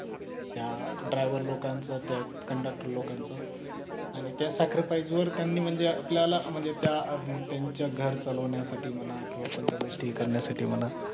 त्या driver लोकांचा त्यात conductor लोकांच आणि त्या sacrifice वर त्यांनी म्हणजे आपल्याला म्हणजे त्या त्यांच्या घर चालवण्यासाठी म्हणा किंवा कोणत्या गोष्टी करण्यासाठी म्हणा